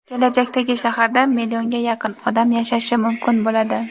kelajakdagi shaharda millionga yaqin odam yashashi mumkin bo‘ladi.